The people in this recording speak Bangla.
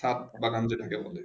সাআদ বাগান যেটা কে বলে